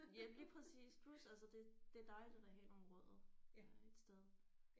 Ja lige præcis plus altså det det er dejligt at have nogle rødder øh et sted